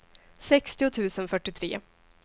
sextio tusen fyrtiotre